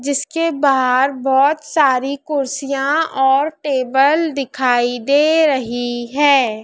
जिसके बाहर बहुत सारी कुर्सियां और टेबल दिखाई दे रही है।